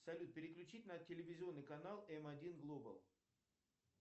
салют переключить на телевизионный канал м один глобал